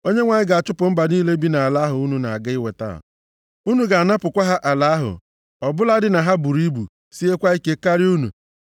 Onyenwe anyị ga-achụpụ mba niile bi nʼala ahụ unu na-aga inweta, unu ga-anapụkwa ha ala ahụ, ọ bụladị na ha buru ibu, siekwa ike karịa unu.